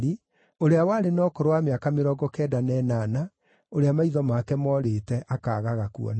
ũrĩa warĩ na ũkũrũ wa mĩaka mĩrongo kenda na ĩnana, ũrĩa maitho make moorĩte, akaagaga kuona.